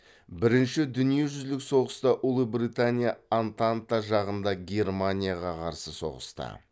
бірінші дүниежүзілік соғыста ұлыбритания антанта жағында германияға қарсы соғысты